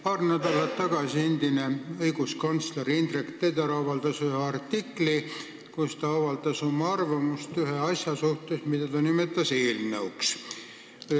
Paar nädalat tagasi avaldas endine õiguskantsler Indrek Teder ühe artikli, kus ta avaldas oma arvamust ühe asja kohta, mida ta nimetas eelnõuks.